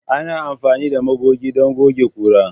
Ana amfani da magoge don goge ƙura.